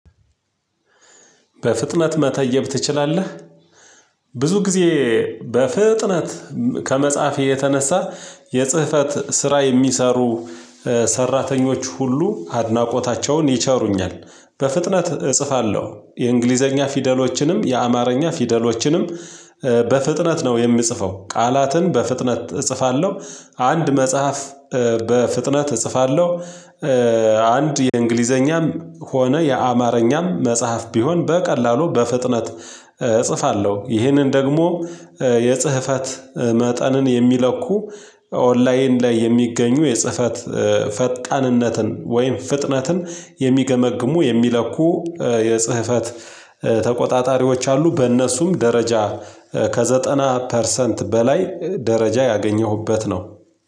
በፍጥነት መተየብ ትችላለህ? ብዙ ጊዜ በፍጥነት ከመጽሐፌ የተነሳ የጽህፈት ስራ የሚሰሩ ሰራተኞች ሁሉ አድናቆታቸውን ይቸሩኛል። በፍጥነት እጽፋለሁ የእንግሊዘኛ ፊደሎችንም የአማርኛ ፊደሎችንም በፍጥነት ነው የምጽፈው ቃላትን በፍጥነት እጽፋለሁ አንድ መጽሐፍ በፍጥነት እጽፋለሁ። አንድ የእንግሊዘኛም ሆነ የአማርኛም መጽሐፍ ቢሆን በቀላሉ በፍጥነት እጽፋለሁ። ይህንን ደግሞ የጽህፈት መጠንን የሚለኩ ኦንላይን ላይ የሚገኙ የጽፈት ፈጣንነትን ወይም ፍጥነትን የሚገመግሙ የሚለኩ የጽህፈት ተቆጣጣሪዎች አሉ። በእነሱም ከዘጠና ፐርሰንት በላይ ደረጃ ያገኘሁበት ነው።